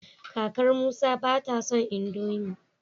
kakar Musa bata son indomie